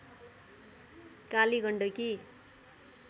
Kali Gandaki